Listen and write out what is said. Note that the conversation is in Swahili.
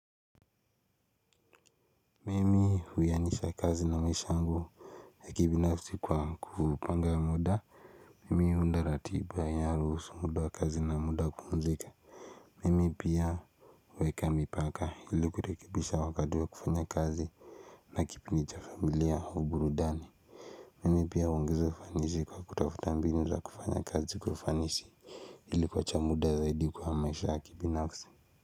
Mimi huianisha kazi na maisha yangu ya kibinafsi kwa kupanga muda mimi huunda ratiba ya ruhusu muda wa kazi na muda wa kupumzika mimi pia huweka mipaka ili kurekebisha wakati wa kufanya kazi na kipindi cha familia au burudani mimi pia huongeza ufanisi kwa kutafuta mbinu za kufanya kazi kwa ufanisi hili kuacha muda zaidi kwa maisha yakibinafsi.